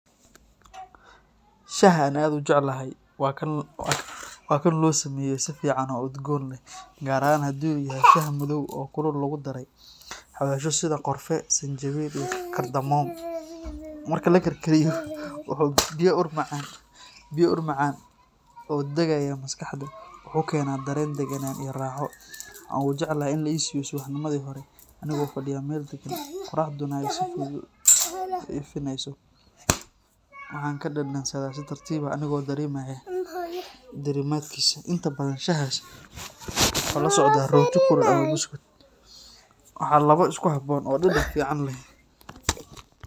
Shaaha aan aad u jeclahay waa kan loo sameeyo si fiican oo udgoon leh, gaar ahaan haddii uu yahay shaah madow oo kulul oo lagu daray xawaashyo sida qorfe, sanjabiil iyo cardamom. Marka la karkariyo, wuxuu bixiyaa ur macaan oo dagaya maskaxda, wuxuuna keenaa dareen degganaan iyo raaxo. Waxaan ugu jecelahay in la i siiyo subaxnimadii hore anigoo fadhiya meel degan, qorraxduna ay si fudud u ifinayso, waxaana ka dhadhansadaa si tartiib ah anigoo dareemaya diirimaadkiisa. Inta badan shaahaas waxaa la socda rooti kulul ama buskud, waana labo isku habboon oo dhadhan fiican leh.